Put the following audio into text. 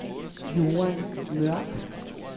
Joan Mørch